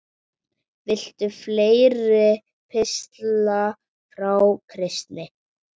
Viltu fleiri pistla frá Kristni?